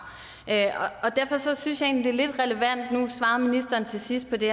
derfor synes jeg egentlig lidt relevant nu svarede ministeren til sidst på det